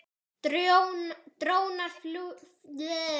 Drónar fljúga áfram.